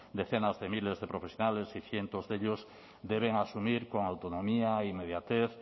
decenas de miles de profesionales y cientos de ellos deben asumir con autonomía e inmediatez